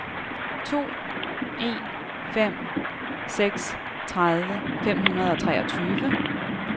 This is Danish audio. to en fem seks tredive fem hundrede og treogtyve